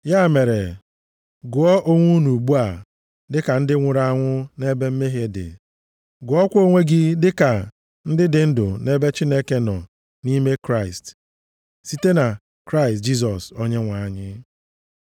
Ya mere, gụọ onwe unu ugbu a dịka ndị nwụrụ anwụ nʼebe mmehie dị. Gụọkwa onwe gị dịka ndị dị ndụ nʼebe Chineke nọ nʼime Kraịst, site na Kraịst Jisọs Onyenwe anyị.